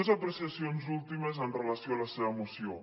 més apreciacions últimes amb relació a la seva moció